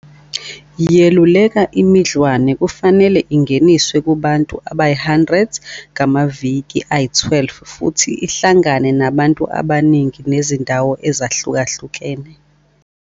yeluleka imidlwane kufanele ingeniswe "Kubantu abayi-100 ngamaviki ayi-12" futhi ihlangane nabantu abaningi nezindawo ezahlukahlukene.